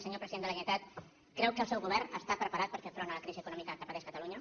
senyor president de la generalitat creu que el seu govern està preparat per fer front a la crisi econòmica que pateix catalunya